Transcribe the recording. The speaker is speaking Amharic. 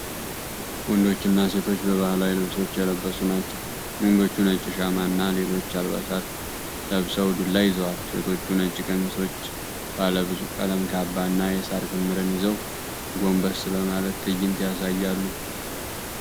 ወንዶችና ሴቶች በባህላዊ ልብሶች የለበሱ ናቸው። ወንዶቹ ነጭ ሻማና እና ሌሎች አልባሳት ለብሰው ዱላ ይዘዋል። ሴቶቹ ነጭ ቀሚሶች፣ ባለብዙ ቀለም ካባ እና የሳር ክምርን ይዘው ጎንበስ በማለት ትዕይንት ያሳያሉ።